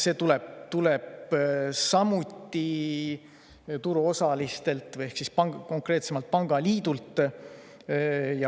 See tuleb samuti turuosaliselt ehk konkreetsemalt pangaliidult.